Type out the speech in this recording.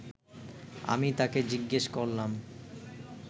আমি তাকে জিজ্ঞেস করলাম